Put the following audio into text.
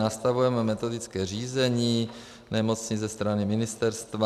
Nastavujeme metodické řízení nemocnic ze strany ministerstva.